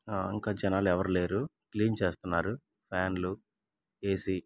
ఆ ఇంకా జనాలు ఎవరూ లేరు. క్లీన్ చేస్తున్నారు ఫ్యాన్లు ఏ_సీ.